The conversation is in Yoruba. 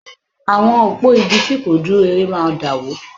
Àwọn òpó igi tí kò dúró ire máa dàwó